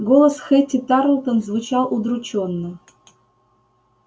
голос хэтти тарлтон звучал удручённо